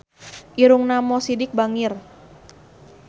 Irungna Mo Sidik bangir